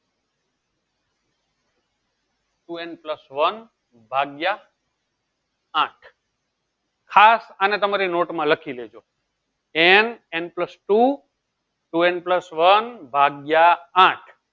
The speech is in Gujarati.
two n plus one ભાગ્ય આઠ ખાસ અને તમારી note માં લખી દેજો n n plus two two n plus one ભાગ્ય આઠ